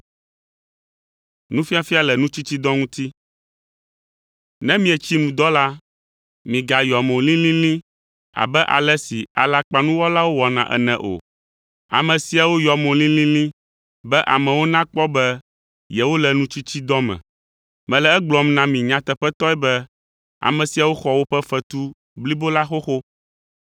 “Ne mietsi nu dɔ la, migayɔ mo lilili abe ale si alakpanuwɔlawo wɔna ene o. Ame siawo yɔa mo lilili, be amewo nakpɔ be yewole nutsitsidɔ me. Mele egblɔm na mi nyateƒetɔe be ame siawo xɔ woƒe fetu blibo la xoxo.